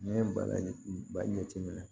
N'i ye bala ba jateminɛ